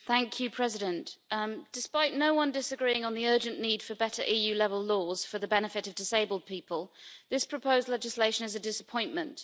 Mr President, despite no one disagreeing on the urgent need for better EU-level laws for the benefit of disabled people, this proposed legislation is a disappointment.